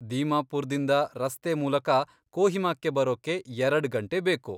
ದೀಮಾಪುರ್ದಿಂದ ರಸ್ತೆ ಮೂಲಕ ಕೋಹಿಮಾಕ್ಕೆ ಬರೋಕ್ಕೆ ಎರಡ್ ಗಂಟೆ ಬೇಕು.